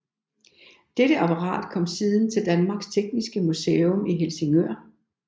Dette apparat kom siden til Danmarks Tekniske Museum i Helsingør